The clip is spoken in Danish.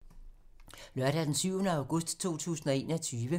Lørdag d. 7. august 2021